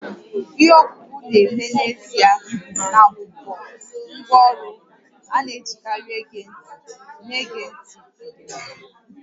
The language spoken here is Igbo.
Ihe ọkpụkpọ na-eme n'ezie na-abụbu ngwá ọrụ a na-ejikarị ege ntị na-ege ntị ederede